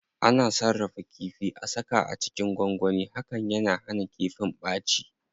Ana sarrafa kifi,a saka a cikin gwangwani, hakan yana hana kifin ɓaci.